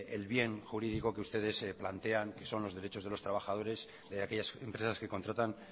el bien jurídico que ustedes plantean que son los derechos de los trabajadores de aquellas empresas que contratan